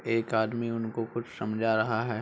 एक आदमी उनको कुछ समझा रहा है।